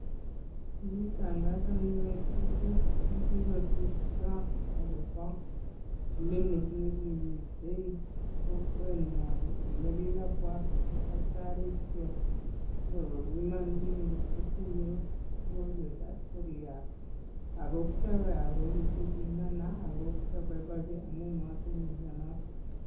Kigitangasanwech betut ne kigosirto agobo clinic ne kimiten kokwenyon nekikabwa tagitarisiek konyo kobiman biik ngotkotinye ugonjwa itab seriat ago kyowe ago kigibimana ago kyoboiboenji amun motinye mianoto.